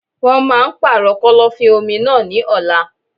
Wọn máà ń pàrọ̀ kọ́lọ́fín-omi náà ní ọ̀la.